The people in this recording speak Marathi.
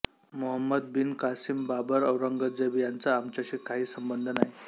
Mohammed bin Qasim Babur Aurangzeb यांचा आमच्याशी काही संबंध नाही